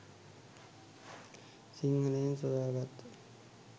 සිංහලයන් සොයා ගත්